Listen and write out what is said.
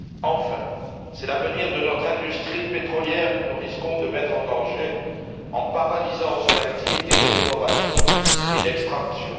Enfin, c'est l'avenir de notre industrie pétrolière que nous risquons de mettre en danger en paralysant son activité d'exploration et d'extraction.